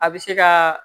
A bɛ se ka